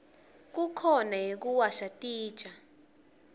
kukhona yekuwasha titja